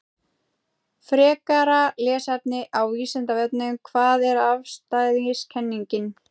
Frekara lesefni á Vísindavefnum: Hvað er afstæðiskenningin?